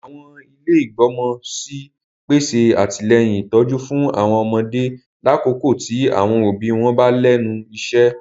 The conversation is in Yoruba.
Àwọn ilé igbọmọ sí n pèsè atilẹyin ìtójú fún àwọn ọmọdé lakoko ti àwọn òbí wọn wa lẹ́nu iṣẹ.